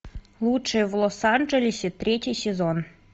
лучшее в лос анджелесе третий сезон